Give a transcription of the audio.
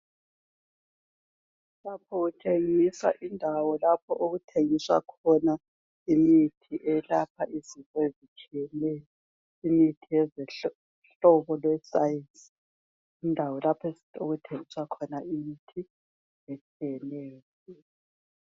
Lapha kutshengisa indawo lapho okuthengiswa khona imithi eyelapha izifo ezitshiyeneyo imithi yezohlobo lwescience indawo lapho okuthengiswa khona imithi etshiyeneyo.